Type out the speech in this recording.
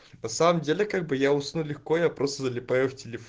на самом деле как бы я усну легко я просто залипаю